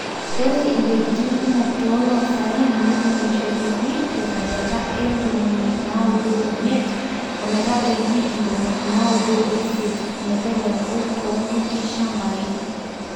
Ore iwuejitin kumok too oloosaen netuunishoteki te sajata e ntomini naudo omiet ometabaiki intomoni naudo o isiet meteleku too kuti shambai.